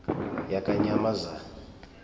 yakanyamazane